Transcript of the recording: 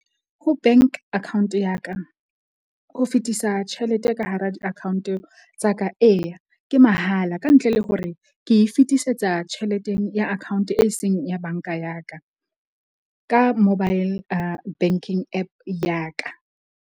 Ho bank account ya ka ho fetisa tjhelete ka hara di-account tsa ka, eya ke mahala ka ntle le hore ke fetisetsa tjheleteng ya account e seng ya banka ya ka, ka mobile banking App ya ka.